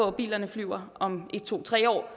at bilerne flyver om en to tre år